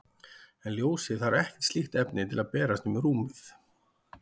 En ljósið þarf ekkert slíkt efni til að berast um rúmið.